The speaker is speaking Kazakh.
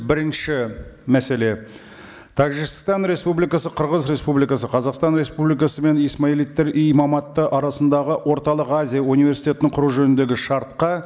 бірінші мәселе тәжікстан республикасы қырғыз республикасы қазақстан республикасы мен исмаилиттер имаматы арасындағы орталық азия университетінің құру жөніндегі шартқа